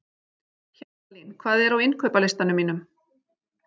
Hjaltalín, hvað er á innkaupalistanum mínum?